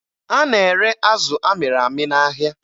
A na-ere azụ amịrị amị n'ahịa